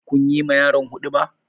Kun yi ma yaron huɗuba?